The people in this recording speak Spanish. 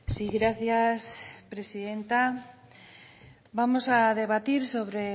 sí gracias presidenta vamos a debatir sobre